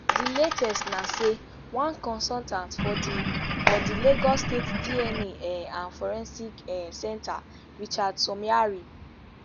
di latest na say one consultant for di for di lagos state dna um and forensics um centre richard somiari